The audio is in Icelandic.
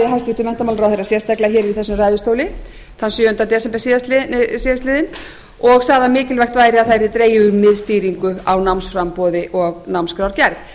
hæstvirtur menntamálaráðherra sérstaklega í þessum ræðustóli þann sjöunda desember síðastliðinn og sagði að mikilvægt væri að það yrði dregið úr miðstýringu á námsframboði og námskrárgerð ég